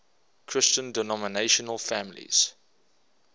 christian denominational families